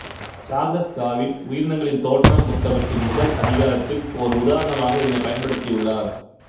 Charles Darwin உயிரினங்களின் தோற்றம் புத்தகத்தின் முதல் அதிகாரத்தில் ஓர் உதாரணமாக இதனைப் பயன்படுத்தியுள்ளார்